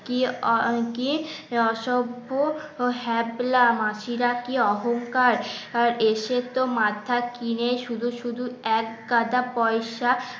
কি আহ কি অসভ্য ও হ্যাবলা মাসিরা কি অহংকার এসে তো মাথা কিনে শুধু শুধু এক গাদা পয়সা